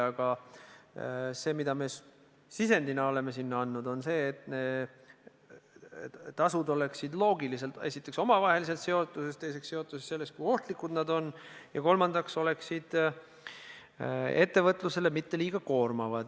Aga me oleme sisendina andnud põhimõtte, et tasud oleksid loogiliselt esiteks omavaheliselt seotud ja teiseks seotud sellega, kui ohtlikud need ained on, ja kolmandaks ei tohi need olla ettevõtlusele liiga koormavad.